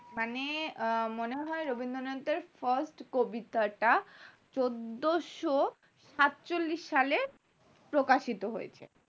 মানে মনে হয় রবীন্দ্রনাথ এর first কবিতাটা চোদ্দোশো সাত চল্লিশ সালে প্রকাশিত হয়েছে